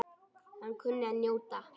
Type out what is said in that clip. Hann kunni að njóta.